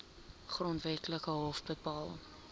grondwetlike hof bepaal